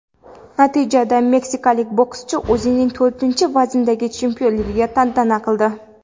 Natijada meksikalik bokschi o‘zining to‘rtinchi vazndagi chempionligini tantana qildi.